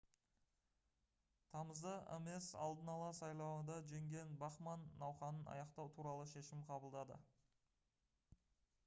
тамызда ames алдын ала сайлауында жеңген бахман науқанын аяқтау туралы шешім қабылдады